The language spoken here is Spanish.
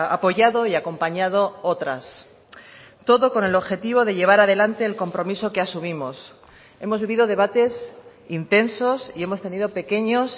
apoyado y acompañado otras todo con el objetivo de llevar a delante el compromiso que asumimos hemos vivido debates intensos y hemos tenido pequeños